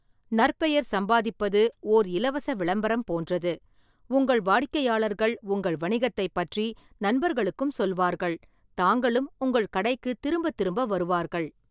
நற்பெயர் சம்பாதிப்பது ஓர் இலவச விளம்பரம் போன்றது, உங்கள் வாடிக்கையாளர்கள் உங்கள் வணிகத்தைப் பற்றி நண்பர்களுக்கும் சொல்வார்கள், தாங்களும் உங்கள் கடைக்குத் திரும்பத்திரும்ப வருவார்கள்.